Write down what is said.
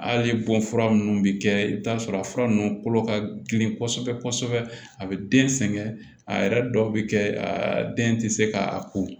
Hali bɔn fura ninnu bɛ kɛ i bɛ t'a sɔrɔ a fura ninnu kolo ka girin kosɛbɛ kosɛbɛ a bɛ den sɛgɛn a yɛrɛ dɔw bɛ kɛ a den tɛ se ka a ko